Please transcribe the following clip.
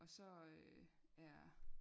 Og så øh er